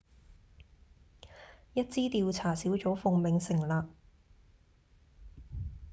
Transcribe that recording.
一支調查小組奉命成立